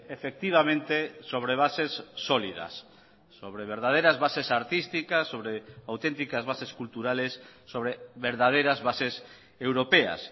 efectivamente sobre bases sólidas sobre verdaderas bases artísticas sobre auténticas bases culturales sobre verdaderas bases europeas